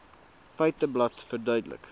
feiteblad verduidelik